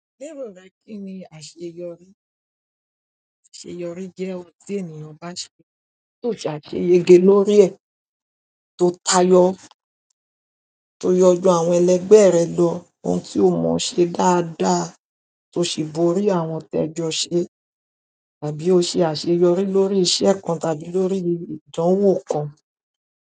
Lérò rẹ kíni àṣeyọrí? Àṣeyọrí jẹ́ ohun tí ènìyàn bá ṣẹ tó sàṣeyege lórí ẹ̀, tó tayọ, to yọ jù àwọn ẹlẹgbẹ rẹ lọ ohun tí ó mọ ṣe dáadáa tó sì borí àwọn tí ẹ jọ ń ṣe. Tàbí o ṣe àṣeyọrí lórí iṣẹ́ kan tàbí lórí ìdánwò kan.